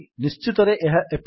ନିଶ୍ଚିତରେ ଏହା ଏପରି